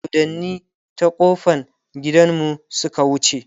doddani ta ƙofan gidanmu Suka wuce